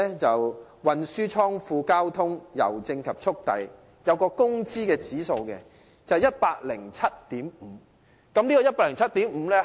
就此而言，運輸、倉庫、郵政及速遞服務業的工資指數為 107.5。